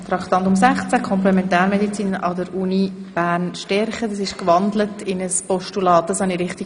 Der Vorstoss wurde in ein Postulat gewandelt.